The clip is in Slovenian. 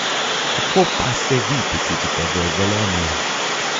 Kako pa se vi počutite v Velenju?